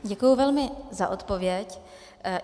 Děkuji velmi za odpověď.